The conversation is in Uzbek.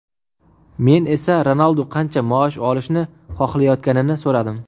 Men esa Ronaldu qancha maosh olishni xohlayotganini so‘radim.